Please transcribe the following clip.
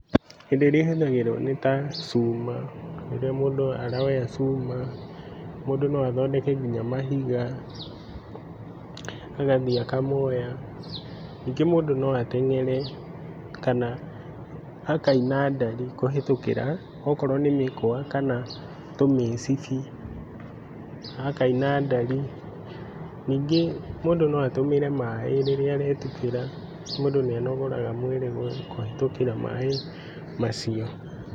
Indo iria ihũthagĩrwo nĩta cuma mũndũ noathondeke nginya mahiga agathiĩ akamoya. Nyingĩ mũndũ noateng'ere akaina ndathi kũhĩtũkĩra okorwo nĩ mĩkwa kana tũmicibi akaina ndari, nyingĩ mũndũ noatũmĩre maĩ rĩrĩa aretubĩra mũndũ nĩ anogoraga mwĩrĩ kũhĩtũkĩra maĩ macio.